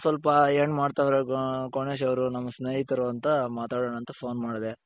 ಸ್ವಲ್ಪ ಎನ್ ಮಾಡ್ತಾ ಇದ್ದಾರೆ ಗಣೇಶ್ ಅವರು ನಮ್ಮ ಸ್ನೇಹಿತರು ಅಂತ ಮಾತಾಡಣ ಅಂತ phone ಮಾಡ್ದೆ .